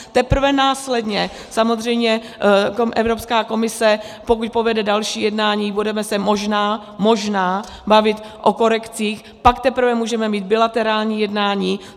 Teprve následně samozřejmě Evropská komise, pokud povede další jednání, budeme se možná - možná - bavit o korekcích, pak teprve můžeme mít bilaterální jednání.